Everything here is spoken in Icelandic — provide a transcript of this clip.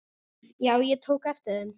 Já, ég tók eftir þeim.